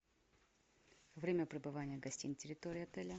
время пребывания гостей на территории отеля